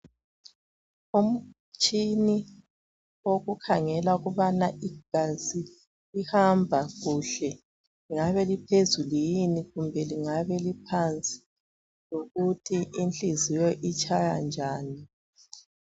Umtshina wokukhangela ukubana igazi lihamba kuhle, lingabe eliphezulu yini kumbe lingabe liphansi, lokuthi inhliziyo itshaya njani.